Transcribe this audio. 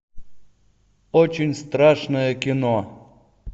очень страшное кино